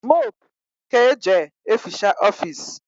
mopu ka eje eficha ofisi